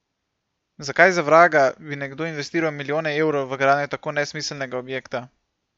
Zakaj za vraga bi nekdo investiral milijone evrov v gradnjo tako nesmiselnega objekta?